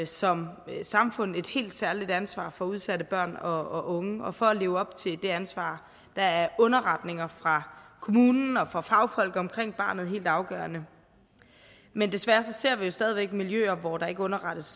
som samfund et helt særligt ansvar for udsatte børn og unge og for at leve op til det ansvar er underretninger fra kommunen og fra fagfolk omkring barnet helt afgørende men desværre ser vi stadig væk miljøer hvor der ikke underrettes